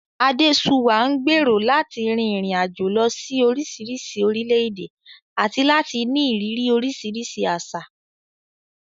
Adesuwa ń gbèrò láti rin ìrìn àjò lọ sí oríṣiríṣi orílẹ̀-èdè àti láti ní ìrírí oríṣiríṣi àṣà.